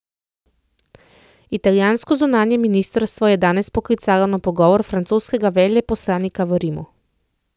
Italijansko zunanje ministrstvo je danes poklicalo na pogovor francoskega veleposlanika v Rimu.